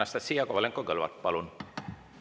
Anastassia Kovalenko-Kõlvart, palun!